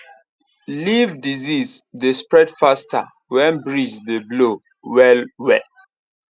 leaf disease dey spread faster when breeze dey blow well well